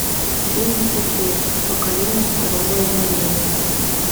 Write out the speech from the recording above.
финес и ферб покорение второго измерения